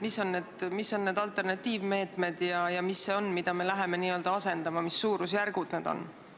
Mis on need alternatiivmeetmed ja mis on see, mida me läheme asendama, mis suurusjärgud need on?